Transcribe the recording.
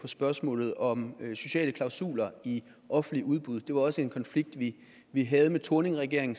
spørgsmålet om sociale klausuler i offentligt udbud det var også en konflikt vi vi havde med thorningregeringen